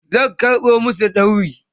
zan karɓo masu dauri